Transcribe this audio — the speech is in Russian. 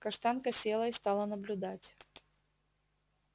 каштанка села и стала наблюдать